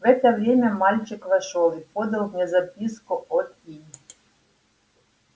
в это время мальчик вошёл и подал мне записку от и